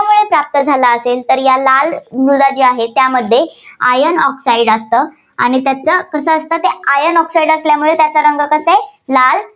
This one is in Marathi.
प्राप्त झाला असेल. तर या लाल मृदाजी आहे, त्यामध्ये iron oxide असतं आणि त्याचं कसं असतं Iron oxide असल्यामुळे त्यांचा रंग कसा आहे लाल